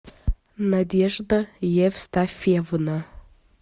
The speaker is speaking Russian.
надежда евстафьевна